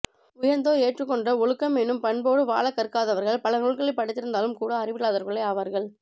உயர்ந்தோர் ஏற்றுக்கொண்ட ஒழுக்கம் எனும் பண்போடு வாழக் கற்காதவர்கள் பல நூல்களைப் படித்திருந்தாலும் கூட அறிவில்லாதவர்களே ஆவார்கள்